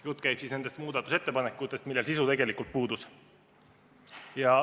Jutt käib nendest muudatusettepanekutest, millel sisu tegelikult puudus.